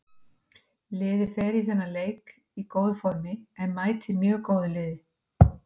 Liðið fer í þennan leik í góðu formi en mætir mjög góðu liði.